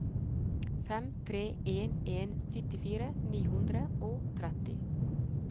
fem tre en en syttifire ni hundre og tretti